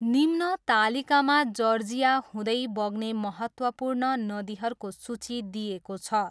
निम्न तालिकामा जर्जिया हुँदै बग्ने महत्त्वपूर्ण नदीहरूको सूची दिइएको छ।